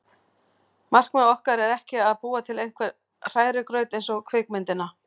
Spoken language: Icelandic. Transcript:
Markmið okkar er ekki að búa til einhvern hrærigraut eins og kvikmyndina